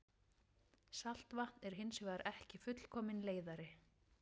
Saltvatn er hins vegar ekki fullkominn leiðari.